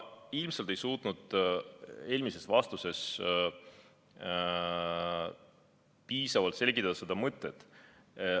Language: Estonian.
Ma ilmselt ei suutnud eelmises vastuses piisavalt seda mõtet selgitada.